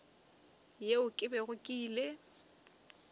yeo ke bego ke ile